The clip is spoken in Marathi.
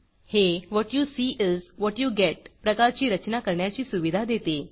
हे what you see is what you get प्रकारची रचना करण्याची सुविधा देते